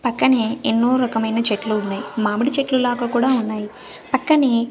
పక్కనే ఎన్నో రకమైన చెట్లు ఉన్నాయి మామిడి చెట్లు లాగ కూడా ఉన్నాయి పక్కనే--